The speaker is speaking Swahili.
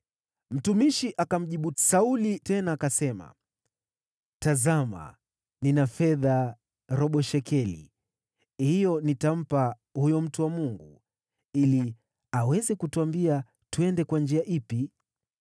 Mtumishi akamjibu Sauli tena, akasema, “Tazama, nina fedha robo shekeli. Hiyo nitampa huyo mtu wa Mungu ili aweze kutuambia twende kwa njia ipi.”